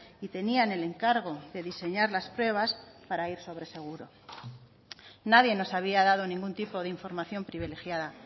y tenían el encargo de diseñar las pruebas para ir sobre seguro nadie nos había dado ningún tipo de información privilegiada